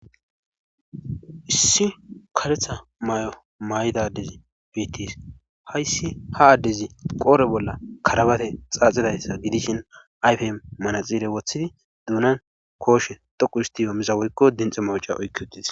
issi kaletha may7o may7idadezi biittis hayssi ha addezi qoore bolla karabate xaaxidayssa gidishin ayfe manaxiire wothidi duunan kooshe dhoqu histiyo miza woykko dinxa mawca oykki uttis